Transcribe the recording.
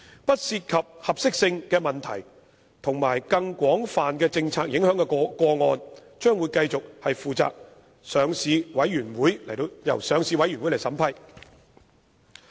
不涉及合適性的問題及更廣泛政策影響的個案，將會繼續由上市委員會負責審批。